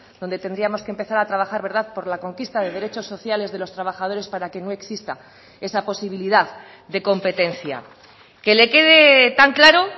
donde tendríamos que empezar a trabajar verdad por la conquista de derechos sociales de los trabajadores para que no exista esa posibilidad de competencia que le quede tan claro